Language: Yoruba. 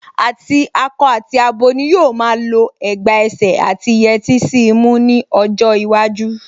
Àti akọ àti abo ni yóò máa lọ ẹ̀gbà ẹsẹ̀ àti yẹtí sí imú ní ọjọ́ iwájú